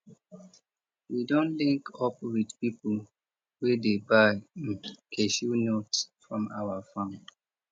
we don link up with people wey dey buy um cashew nuts from our farm